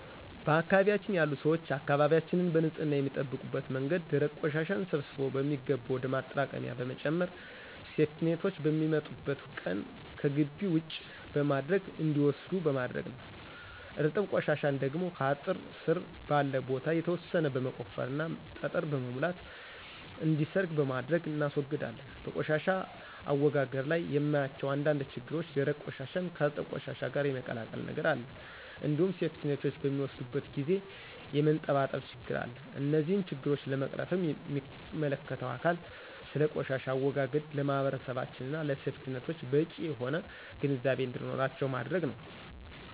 በአካባቢያችን ያሉ ሰዎች አካባቢያችንን በንፅህና የሚጠብቁበት መንገድ ደረቅ ቆሻሻን ሰብስቦ በሚገባ ወደ ማጠራቀሚያ በመጨመር ሴፍቲኔቶች በሚመጡበት ቀን ከግቢ ውጪ በማድረግ እንዲወስዱት በማድረግ ነዉ። እርጥብ ቆሻሻን ደግሞ ከአጥር ስር ባለ ቦታ የተወሰነ በመቆፈርና ጠጠር በመሙላት እንዲሰርግ በማድረግ እናስወግዳለን። በቆሻሻ አወጋገድ ላይ የማያቸው አንዳንድ ችግሮች ደረቅ ቆሻሻን ከእርጥብ ቆሻሻ ጋር የመቀላቀል ነገር አለ እንዲሁም ሴፍቲኔቶች በሚወስዱበት ጊዜ የመንጠባጠብ ችግር አለ። እነዚህን ችግሮች ለመቅረፍም ሚመለከተው አካል ስለ ቆሻሻ አወጋገድ ለማህበረሰባችን እና ለሴፍቲኔቶች በቂ የሆነ ግንዛቤ እንዲኖራቸው ማድረግ ነዉ።